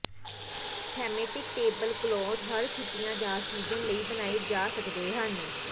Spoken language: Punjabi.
ਥੈਮੇਟਿਕ ਟੇਬਲ ਕਲੌਥ ਹਰ ਛੁੱਟੀਆਂ ਜਾਂ ਸੀਜ਼ਨ ਲਈ ਬਣਾਏ ਜਾ ਸਕਦੇ ਹਨ